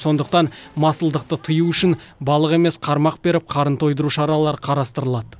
сондықтан масылдықты тыю үшін балық емес қармақ беріп қарын тойдыру шаралары қарастырылады